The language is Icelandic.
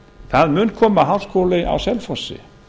það mun koma háskóli á selfossi